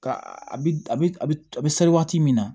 Ka a bi a bi a be sari waati min na